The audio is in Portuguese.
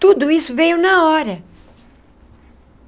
Tudo isso veio na hora.